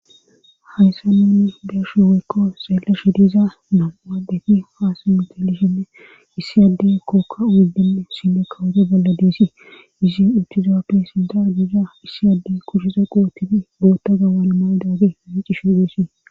Hayssa nunni deshu weykko xeelashe diza nam7uadefi haasa mitelishenne issi addey kookka wuddenne sime kawode bolla deesi izi utizaoppe sinda giza issi adde kurshiza qootibi bootta gawana maydaage hiicishe deesii.